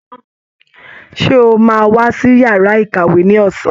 Ṣe o máa wá sí yàrá ìkàwé ní ọsán?